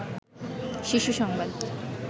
শীর্ষ সংবাদ